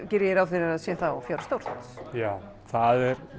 geri ég ráð fyrir að sé þá fjári stórt já það er